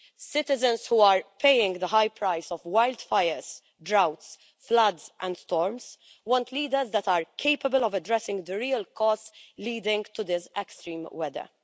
Citizens who are paying the high price of wildfires, droughts, floods and storms want leaders that are capable of addressing the real cause leading to this extreme weather.